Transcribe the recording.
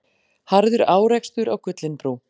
Harður árekstur á Gullinbrú